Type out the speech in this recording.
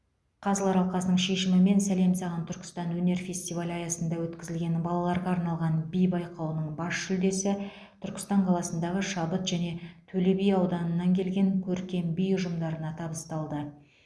қазылар алқасының шешімімен сәлем саған түркістан өнер фестивалі аясында өткізілген балаларға арналған би байқауының бас жүлдесі түркістан қаласындағы шабыт және төлеби ауданыннан келген көркем би ұжымдарына табысталды